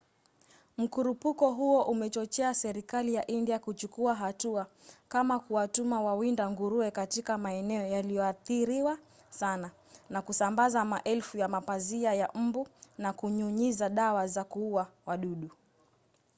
mkurupuko huo umechochea serikali ya india kuchukua hatua kama kuwatuma wawinda nguruwe katika maeneo yaliyoathiriwa sana na kusambaza maelfu ya mapazia ya mbu na kunyunyiza dawa za kuua wadudu